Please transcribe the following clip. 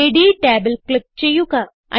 റേഡി ടാബിൽ ക്ലിക്ക് ചെയ്യുക